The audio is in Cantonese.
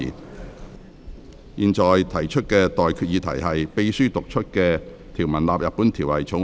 我現在向各位提出的待決議題是：秘書已讀出的條文納入本條例草案。